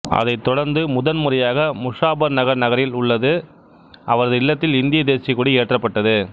அதைத் தொடர்ந்து முதன்முறையாக முசாபர்நகர் நகரில் உள்ள அவரது இல்லத்தில் இந்தியக் தேசிய கொடி ஏற்றப்பட்டது